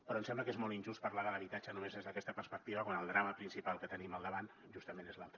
però em sembla que és molt injust parlar de l’habitatge només des d’aquesta perspectiva quan el drama principal que tenim al davant justament és l’altre